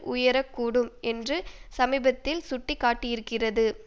உயரக் கூடும் என்று சமீபத்தில் சுட்டி காட்டியிருக்கிறது